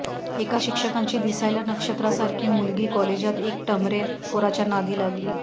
एका शिक्षकांची दिसायला नक्षत्रासारखी मुलगी कॉलेजात एक टमरेल पोराच्या नादी लागली